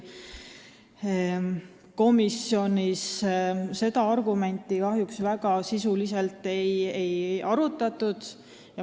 Komisjonis seda argumenti tõesti kahjuks sisuliselt ei arutatud.